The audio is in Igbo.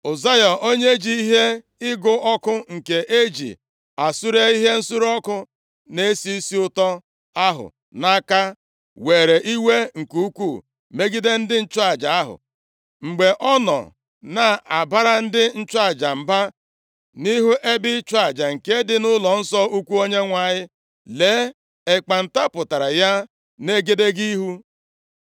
Ụzaya onye ji ihe ịgụ ọkụ nke e ji esure ihe nsure ọkụ na-esi isi ụtọ ahụ nʼaka, were iwe nke ukwu megide ndị nchụaja ahụ. Mgbe ọ nọ na-abara ndị nchụaja mba nʼihu ebe ịchụ aja nke dị nʼụlọnsọ ukwu Onyenwe anyị, lee ekpenta pụtara ya nʼegedege ihu.